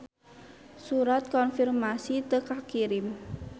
Surat konfirmasi teu kakirim.